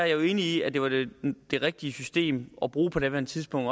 jo er enig i at det var det det rigtige system at bruge på daværende tidspunkt